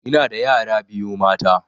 Ina da yara biyu mata